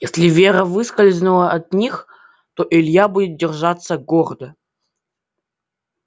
если вера выскользнула от них то илья будет держаться гордо